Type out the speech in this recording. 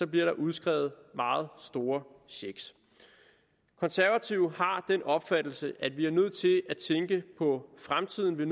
bliver der udskrevet meget store checks de konservative har den opfattelse at vi er nødt til at tænke på fremtiden vi